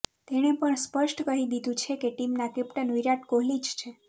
તેણે પણ સ્પષ્ટ કહી દીધુ છે કે ટીમના કેપ્ટન વિરાટ કોહલી જ છે